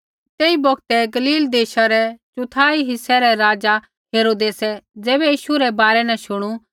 तेई बौगतै गलील देशा रै चौथाई हिस्से रै राज़ा हेरोदेसै ज़ैबै यीशु रै बारै न शुणू